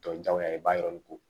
Tɔ jagoya ye i b'a yɔrɔ nin ko